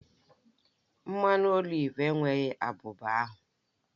Mmanụ oliv enweghị abuba ahu